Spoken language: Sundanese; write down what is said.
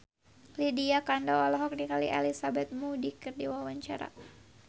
Lydia Kandou olohok ningali Elizabeth Moody keur diwawancara